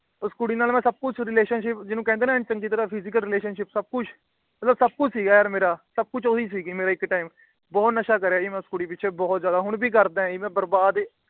ਉਸ ਕੁੜੀ ਨਾਲ ਮੈ ਸਬ ਕੁਛ Relationship ਜਿਨੂੰ ਕਹਿੰਦੇ ਨਾ ਐਨ ਚੰਗੀ ਤਰ੍ਹਾਂ Physical Relationship ਸਬ ਕੁਛ ਮਤਲਬ ਸਬ ਕੁਛ ਸੀ ਗਾ ਯਾਰ ਮੇਰਾ। ਸਬ ਕੁਛ ਉਹ ਸੀ ਗੀ ਮੇਰਾ ਇੱਕ Time ਬਹੁਤ ਨਸ਼ਾ ਕਰਿਆ ਜੀ ਉਸ ਕੁੜੀ ਪਿੱਛੇ ਮੈ ਬਹੁਤ ਹੀ ਜਿਆਦਾ। ਹੁਣ ਵੀ ਕਰਦਾ ਜੀ ਬਰਬਾਦ